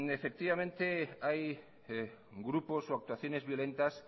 efectivamente hay grupos o actuaciones violentas